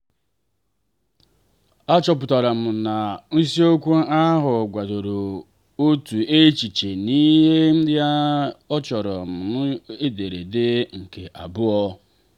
achọpụtara m na isiokwu ahụ kwadoro otu echiche n'ihi ya achọrọ m ederede nke abụọ.